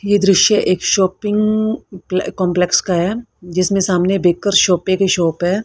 यह दृश्य एक शॉपिंग कंपलेक्स का है जिसमें सामने बेकर की शॉप है।